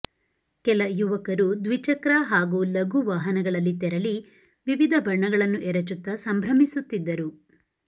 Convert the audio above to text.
ಕಲ ಯುವಕರು ದ್ವಿಚಕ್ರ ಹಾಗೂ ಲಘು ವಾಹನಗಳಲ್ಲಿ ತೆರಳಿ ವಿವಿಧ ಬಣ್ಣಗಳನ್ನು ಎರಚುತ್ತ ಸಂಭ್ರಮಿಸುತ್ತಿದ್ದರು